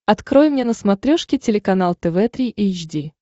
открой мне на смотрешке телеканал тв три эйч ди